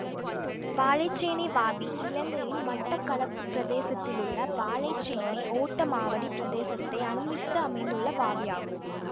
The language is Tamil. வாழைச்சேனை வாவி இலங்கையின் மட்டக்களப்பு பிரதேசத்திலுள்ள வாழைச்சேனை ஓட்டமாவடி பிரதேசத்தை அண்மித்து அமைந்துள்ள வாவியாகும்